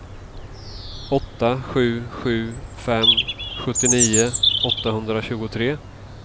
åtta sju sju fem sjuttionio åttahundratjugotre